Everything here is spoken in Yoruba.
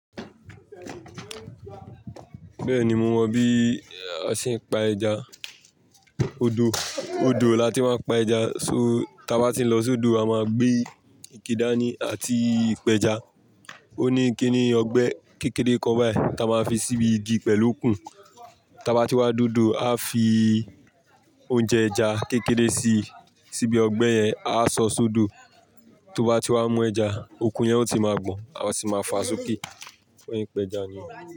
Bẹ́ẹ̀ni mo mọ bí a ṣe ń pa ẹja. Odò, odò la tí máa ń pa ẹja. So, tí a bá ti ń lọ sódò a máa gbé ike dání àti ìpẹja. Ó ní kíní ọgbẹ́ kékeré kan báyìí tí a máa fi síbi igi pẹ̀lú okùn. Tí a bá ti wá dé odò a fi oúnjẹ ẹja kékeré si, síbi ọgbẹ́ yẹn, a sọ sódo. Tó bá ti wá mú ẹja, okùn yẹn ó ti máa gbọn. A sì máa fa sọ́kí, ó yan pẹja ni.